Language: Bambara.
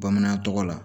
Bamanan tɔgɔ la